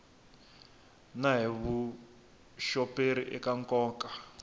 na hi vuxoperi eka nkoka